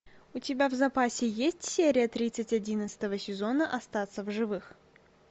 у тебя в запасе есть серия тридцать одиннадцатого сезона остаться в живых